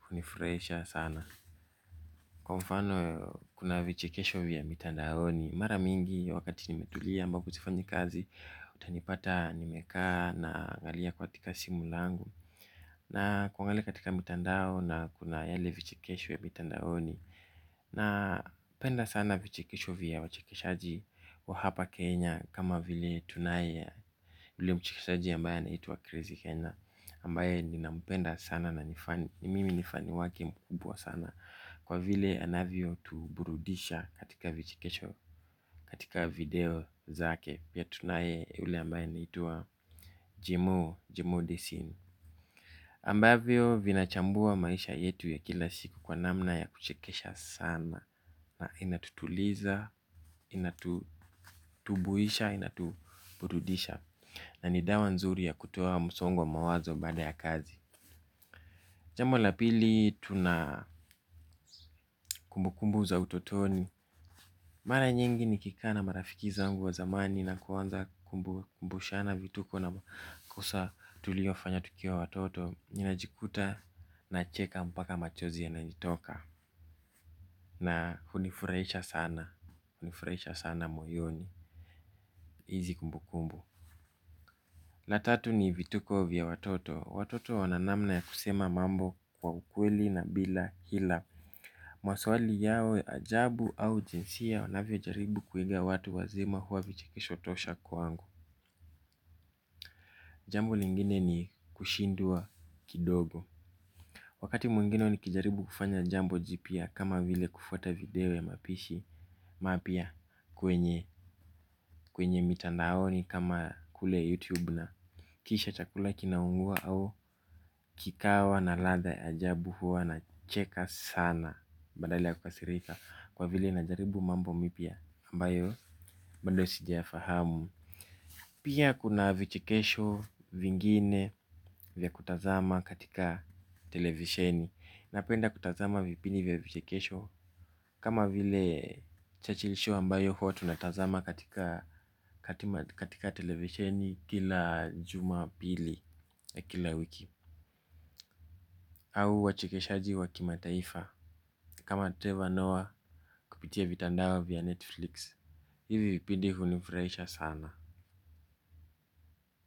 hunifurahisha sana. Kwa mfano kuna vichikesho vya mitandaoni, mara mingi wakati nimetulia ambapo sifanyi kazi utanipata nimeka na angalia katika simu langu na kuangalia katika mitandao na kuna yale vichekesho vya mtandaoni napenda sana vichekesho vya wachekeshaji wa hapa Kenya kama vile tunae yule mchekeshaji ambaye anaitwa Crazy Kena, ambaye nina mpenda sana na mimi ni fani wake mkubwa sana kwa vile anavyo tuburudisha katika video zake pia tunaye yule ambaye anaitwa Jemo, Jemo Desini Ambavyo vinachambua maisha yetu ya kila siku kwa namna ya kuchekesha sana na inatutuliza, inatutubuisha, inatuburudisha. Na ni dawa nzuri ya kutoa msongo wa mawazo baada ya kazi. Jambo la pili, tuna kumbukumbu za utotoni. Mara nyingi nikika na marafiki zangu wa zamani na kuanza kukumbushana vituko na makosa tulio fanya tukiwa watoto. Ninajikuta na cheka mpaka machozi yananitoka na hunifurahisha sana, hunifurahisha sana moyoni, hizi kumbukumbu. La tatu ni vituko vya watoto, watoto wananamna ya kusema mambo kwa ukweli na bila hila. Maswali yao ya ajabu au jinsi ya wanavyo jaribu kuiga watu wazima hua vichekisho tosha kwangu. Jambo lingine ni kushindwa kidogo. Wakati mwingine nikijaribu kufanya jambo jipya kama vile kufuata video ya mapishi mapya kwenye kwenye mitandaoni kama kule youtube na kisha chakula kinaungua au kikawa na ladha ya ajabu huwa na cheka sana. Badala ya kukasirika kwa vile na jaribu mambo mipya ambayo bado sijaya fahamu. Pia kuna vichekesho vingine vya kutazama katika televisheni. Napenda kutazama vipindi vya vichekesho kama vile Churchill show ambayo huwa tunatazama katika, katika televisheni kila jumapili ya kila wiki au wachekeshaji wakimataifa kama treva noah kupitia vitandao vya netflix hivi vipindi hunifurahisha sana.